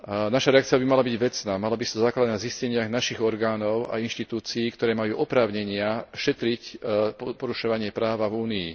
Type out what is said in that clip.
Naša reakcia by mala byť vecná, mala by sa zakladať na zisteniach našich orgánov a inštitúcií, ktoré majú oprávnenia šetriť porušovanie práva v Únii.